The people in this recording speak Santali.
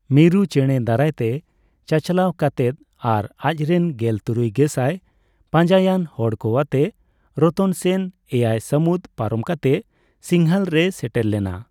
ᱢᱤᱨᱩ ᱪᱮᱸᱲᱮ ᱫᱟᱨᱟᱭ ᱛᱮ ᱪᱟᱪᱟᱞᱟᱣ ᱠᱟᱛᱮᱫ ᱟᱨ ᱟᱡᱨᱮᱱ ᱜᱮᱞ ᱛᱩᱨᱩᱭ ᱜᱮᱥᱟᱭ ᱯᱟᱡᱟᱭᱟᱱ ᱦᱚᱲ ᱠᱚ ᱟᱛᱮ ᱨᱚᱛᱚᱱ ᱥᱮᱱ ᱮᱭᱟᱭ ᱥᱟᱢᱩᱫ ᱯᱟᱨᱚᱢ ᱠᱟᱛᱮᱫ ᱥᱤᱝᱦᱚᱞ ᱨᱮᱭ ᱥᱮᱴᱮᱨ ᱞᱮᱱᱟ .᱾